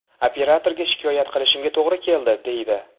Operatorga shikoyat qilishimga to‘g‘ri keladi”, deydi.